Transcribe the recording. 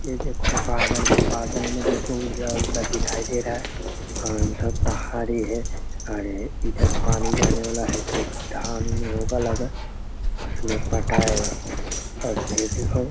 यह देखो बादल है बादल में देखो उजला-उजला दिखाई दे रहा है और सब पहाड़ी है और इधर पानी जाने वाला है जो की धान होगा लगा उसमें पटाएगा और फिर देखो --